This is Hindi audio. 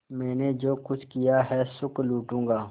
मैंने जो कुछ किया है सुख लूटूँगा